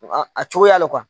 A cogoya le